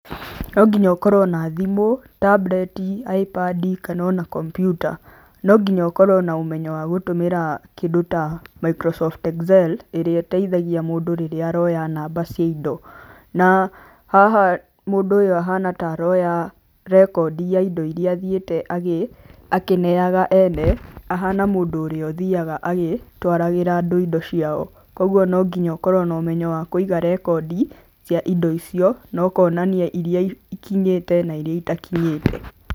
No nginya ũkorwo na thimũ, tambureti, aĩmbadi kana ona kombiuta. No nginya ũkorwo na ũmenyo wa gũtũmĩra kĩndũ ta microsoft Excel ĩrĩa ĩteithagia mũndũ rĩrĩa aroya ta namba cia indo. Na haha mũndũ ũyũ ahana ta aroya rekondi ya indo iria athiĩte akĩneyaga ene, ahana mũndũ ũrĩa ũthiyaga agĩtwaragĩra andũ indo ciao. Koguo no nginya ũkorwo na ũmenyo wa kũiga rekondi cia indo icio, na ũkonania iria ikinyĩte na iria itakinyĩte.